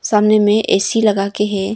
सामने में ऐ_सी लगा के है।